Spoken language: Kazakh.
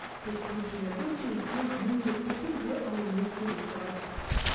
тек көршілердің келісімін міндетті түрде алуыңыз керек деп айттық